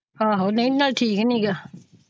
ਆਹੋ ਨਹੀਂ ਨਾਲੇ ਠੀਕ ਨੀ ਗਾ।